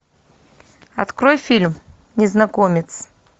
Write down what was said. открой фильм незнакомец